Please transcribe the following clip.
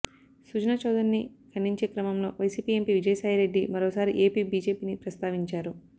సుజనా చౌదరిని ఖండించేక్రమంలో వైసీపీ ఎంపీ విజయసాయిరెడ్డి మరోసారి ఏపీ బీజేపీని ప్రస్తావించారు